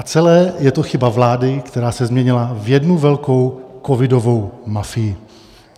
A celé je to chyba vlády, která se změnila v jednu velkou covidovou mafii.